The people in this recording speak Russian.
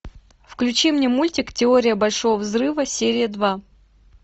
включи мне мультик теория большого взрыва серия два